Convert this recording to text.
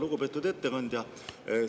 Lugupeetud ettekandja!